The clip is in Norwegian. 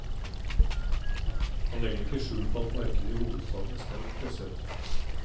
Han legger ikke skjul på at markedet i hovedstaden er sterkt presset.